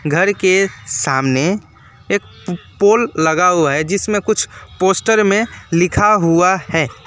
घर के सामने एक पोल लगा हुआ है जिसमे कुछ पोस्टर में लिखा हुआ है।